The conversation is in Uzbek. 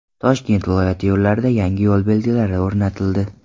Toshkent viloyati yo‘llarida yangi yo‘l belgilari o‘rnatildi.